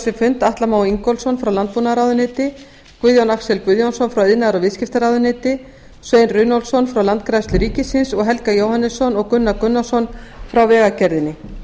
sinn fund atla má ingólfsson frá landbúnaðarráðuneyti guðjón axel guðjónsson frá iðnaðar og viðskiptaráðuneyti svein runólfsson frá landgræðslu ríkisins og helga jóhannesson og gunnar gunnarsson frá vegagerðinni